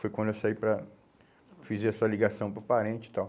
Foi quando eu saí para fazer essa ligação para o parente e tal.